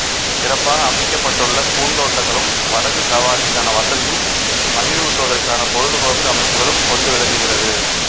சிறப்பாக அமைக்கப்பட்டுள்ள பூந்தோட்டங்களும் படகு சவாரிக்கான வசதியும் மகிழ்வூட்டுவதற்கான பொழுதுபோக்கு அமைப்புகளும் கொண்டு விளங்குகிறது